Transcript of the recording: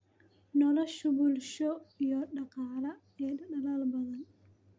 nolosha bulsho iyo dhaqaale ee dalal badan.